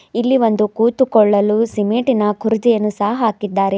ಇಲ್ಲಿ ಒಂದು ಕೂತುಕೊಳ್ಳಲು ಸಿಮೆಂಟಿನ ಕುರ್ಚಿಯನ್ನು ಸಹ ಹಾಕಿದ್ದಾರೆ.